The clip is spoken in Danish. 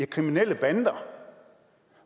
kriminelle bander